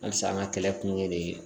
Halisa an ka kɛlɛ kun ye